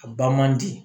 A ba man di